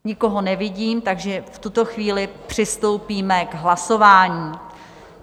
Nikoho nevidím, takže v tuto chvíli přistoupíme k hlasování.